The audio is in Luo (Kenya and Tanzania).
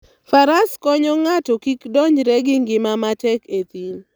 Faras konyo ng'ato kik donjre gi ngima matek e thim.